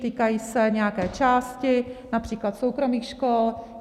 Týkají se nějaké části, například soukromých škol.